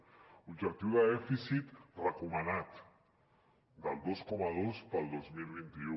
l’objectiu de dèficit recomanat del dos coma dos per al dos mil vint u